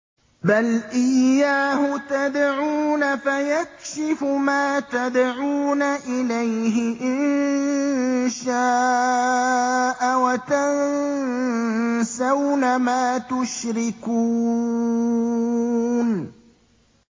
بَلْ إِيَّاهُ تَدْعُونَ فَيَكْشِفُ مَا تَدْعُونَ إِلَيْهِ إِن شَاءَ وَتَنسَوْنَ مَا تُشْرِكُونَ